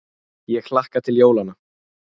Ég hlakka til jólanna.